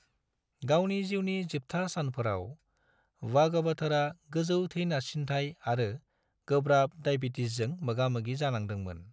गावनि जिउनि जोबथा सानफोराव, बागवथरआ गोजौ थै नारसिनथाय आरो गोब्राब दाइबेटिसजों मोगा-मोगि जानांदोंमोन।